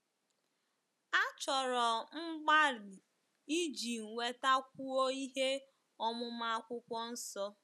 Achọrọ mgbalị iji nwetakwuo ihe ọmụma Akwụkwọ Nsọ.